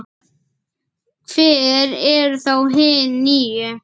Hver eru þá hin níu?